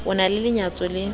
o na le lenyatso le